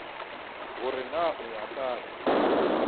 gore na o ya kae